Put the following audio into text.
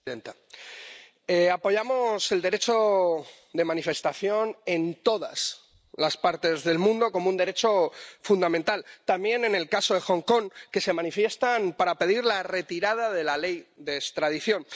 Señora presidenta, apoyamos el derecho de manifestación en todas las partes del mundo, como un derecho fundamental. También en el caso de Hong Kong, donde se manifiestan para pedir la retirada de la ley de extradición.